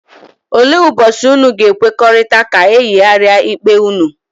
Ole ụbochi ụnụ ga-ekwekọrịta ka eyigaria ikpe unu?,